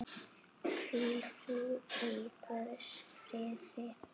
Hvíl þú í Guðs friði.